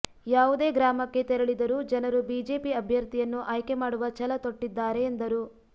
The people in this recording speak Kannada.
ಯಾವುದೇ ಗ್ರಾಮಕ್ಕೆ ತೆರಳಿದರೂ ಜನರು ಬಿಜೆಪಿ ಅಭ್ಯರ್ಥಿಯನ್ನು ಆಯ್ಕೆಮಾಡುವ ಛಲ ತೊಟ್ಟಿದ್ದಾರೆ ಎಂದರು